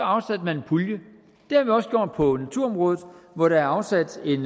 afsat en pulje det har vi også gjort på naturområdet hvor der er afsat en